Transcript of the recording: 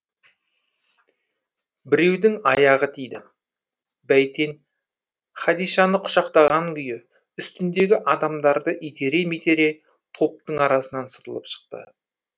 біреудің аяғы тиді бәйтен хадишаны құшақтаған күйі үстіндегі адамдарды итере митере топтың арасынан сытылып шықты